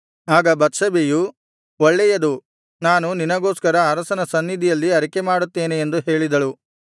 ಆಗ ಬತ್ಷೆಬೆಯು ಒಳ್ಳೇಯದು ನಾನು ನಿನಗೋಸ್ಕರ ಅರಸನ ಸನ್ನಿಧಿಯಲ್ಲಿ ಅರಿಕೆಮಾಡುತ್ತೇನೆ ಎಂದು ಹೇಳಿದಳು